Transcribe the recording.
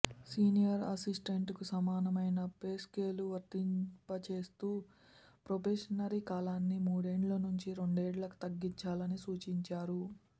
senior అసిస్టెంట్కు సమానమైన pay scale వర్తింపచేస్తూ ప్రొబేషనరీ కాలాన్ని మూడేండ్ల నుంచి రెండేండ్లకు తగ్గించాలని సూచించారు